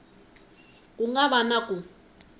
ku nga va na ku